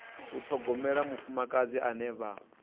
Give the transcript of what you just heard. u ṱhogomela mufumakadzi ane vha